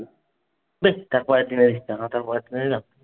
বেশ, তারপরের দিনে নিস না।